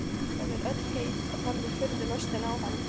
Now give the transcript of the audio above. Hún er öll heit og horfir furðulostin á hann.